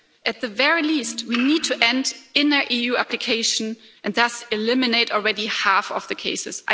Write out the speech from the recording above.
At the very least, we need to end inner EU application and thus eliminate already half of the cases.